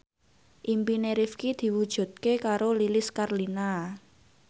impine Rifqi diwujudke karo Lilis Karlina